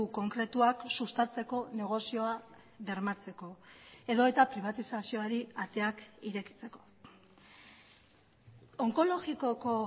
konkretuak sustatzeko negozioa bermatzeko edota pribatizazioari ateak irekitzeko onkologikoko